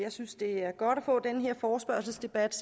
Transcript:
jeg synes det er godt at få den her forespørgselsdebat